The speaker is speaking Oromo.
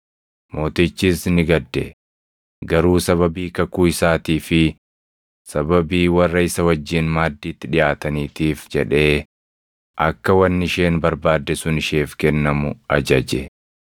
Mootichis ni gadde; garuu sababii kakuu isaatii fi sababii warra isa wajjin maaddiitti dhiʼaataniitiif jedhee akka wanni isheen barbaadde sun isheef kennamu ajaje;